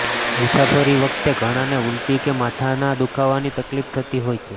મુસાફરી વખતે ઘણાને ઊલટી કે માથાના દુખાવાની તકલીફ થતી હોય છે